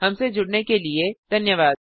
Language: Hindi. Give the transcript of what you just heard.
हमसे जुड़ने के लिए धन्यवाद